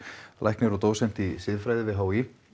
læknir og dósent í siðfræði við h í